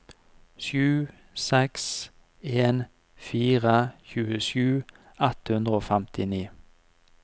sju seks en fire tjuesju ett hundre og femtini